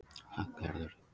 Hallgerður